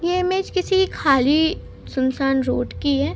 ये इमेज किसी खाली सुनसान रोड की है।